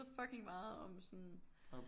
Fucking meget om sådan